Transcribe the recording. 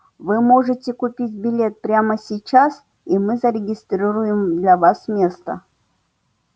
вы можете купить билет прямо сейчас и мы зарегистрируем для вас место